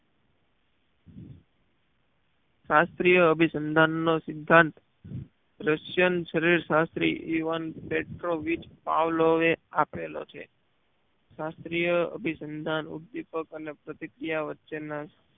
શાહ્સ્ત્રીય અભિસંધાન નું સિધાંત russian શરીર શાસ્ત્રી એ વન પેટ્રોવીચ પાવ્લોવે એ આપેલો છે શાસ્ત્રીય અભિસંધાન ઉપ્દીપક અને પ્રતિક્રિયા વચ્ચે ના